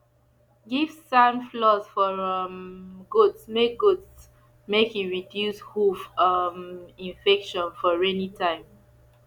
give sand floors for um goats make goats make e reduce hoof um infections for rainy time